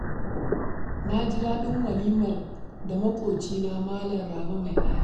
Na ji daɗin walimar da maƙwabcina Malam Rabe mai aya